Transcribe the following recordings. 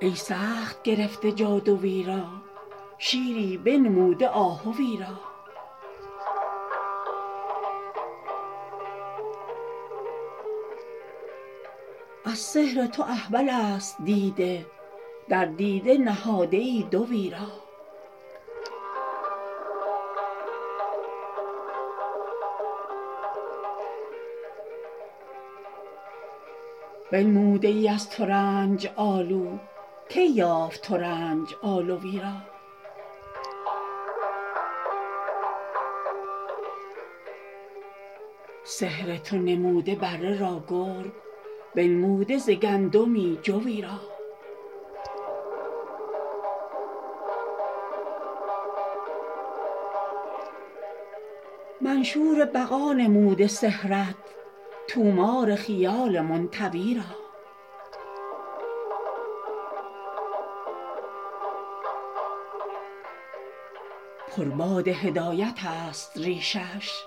ای سخت گرفته جادوی را شیری بنموده آهوی را از سحر تو احولست دیده در دیده نهاده ای دوی را بنموده ای از ترنج آلو کی یافت ترنج آلوی را سحر تو نمود بره را گرگ بنموده ز گندمی جوی را منشور بقا نموده سحرت طومار خیال منطوی را پر باد هدایتست ریشش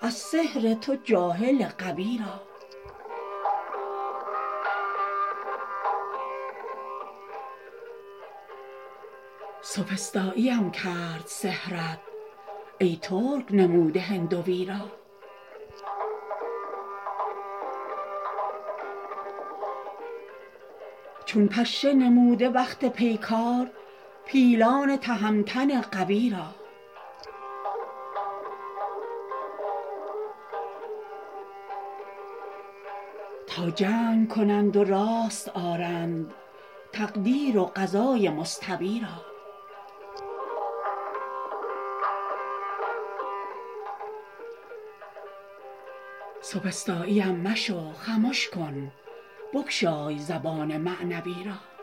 از سحر تو جاهل غوی را سوفسطاییم کرد سحرت ای ترک نموده هندوی را چون پشه نموده وقت پیکار پیلان تهمتن قوی را تا جنگ کنند و راست آرند تقدیر و قضای مستوی را سوفسطایی مشو خمش کن بگشای زبان معنوی را